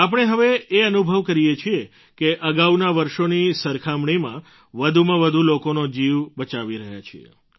આપણે હવે એ અનુભવ કરીએ છીએ કે અગાઉનાં વર્ષોની સરખામણીમાં વધુમાં વધુ લોકોનો જીવ બચાવી રહ્યા છીએ